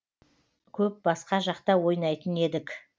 көп басқа жақта ойнайтын едік